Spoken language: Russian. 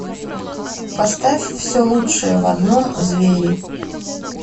поставь все лучшее в одном звери